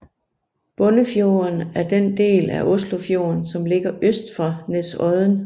Bunnefjorden er den del af Oslofjorden som ligger øst for Nesodden